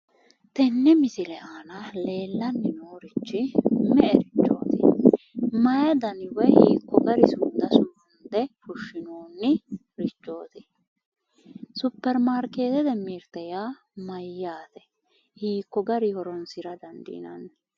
Tenne misile aana leellanni noorichi me'erichooti? mayi dani woyi hiikko dani sumuda sumunde fushshinoonnirichooti? superimaarkeetete nirte yaa mayyaate? hiikko garinni horoonsira dandiinanni?